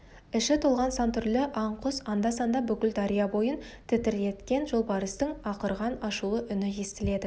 іші толған сан түрлі аң құс анда-санда бүкіл дария бойын тітіреткен жолбарыстың ақырған ашулы үні естіледі